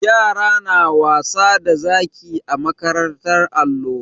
Yara na wasa da zaki a makarantar allo.